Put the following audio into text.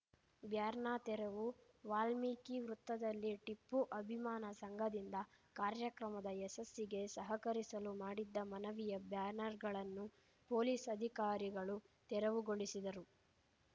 ಬ್ಯಾರ್ನಾ ತೆರವು ವಾಲ್ಮೀಕಿ ವೃತ್ತದಲ್ಲಿ ಟಿಪ್ಪು ಅಭಿಮಾನ ಸಂಘದಿಂದ ಕಾರ್ಯಕ್ರಮದ ಯಶಸ್ಸಿಗೆ ಸಹಕರಿಸಲು ಮಾಡಿದ್ದ ಮನವಿಯ ಬ್ಯಾನರ್‌ಗಳನ್ನು ಪೊಲೀಸ್‌ ಅಧಿಕಾರಿಗಳು ತೆರವುಗೊಳಿಸಿದರು